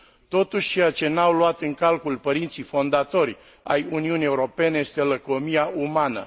Totuși, ceea ce n au luat în calcul părinții fondatori ai Uniunii Europene este lăcomia umană.